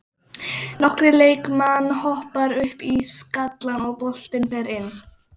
Nokkrir leikmann hoppa upp í skallann og boltinn fer inn.